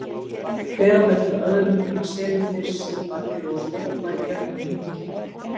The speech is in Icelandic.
Hver á fætur öðrum koma selirnir syndandi og stökkva í gegnum hringinn.